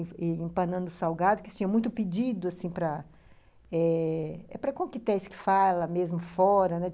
E empanando salgado, que tinha muito pedido, assim, para... É para coquetéis que fala mesmo fora, né?